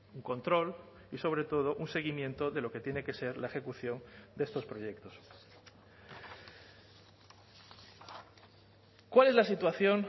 un control y sobre todo un seguimiento de lo que tiene que ser la ejecución de estos proyectos cuál es la situación